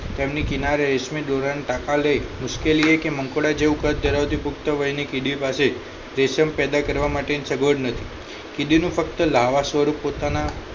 તેમની કિનારે રેશમી દોરા ના ટાંકા લઇ મુશ્કેલીયે કે મંકોડા જેવું કદ ધરાવતી પુક્તવય ની કીડી પાસે રેશમ પેદા કરવા માટેની સગવડ નથી કીડી નું ફક્ત લાવા સ્વરૂપ પોતાના